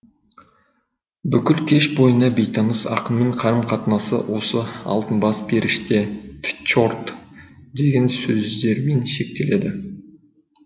бүкіл кеш бойына бейтаныс ақынмен қарым қатынасы осы алтын бас періште тчорт деген сөздермен шектеледі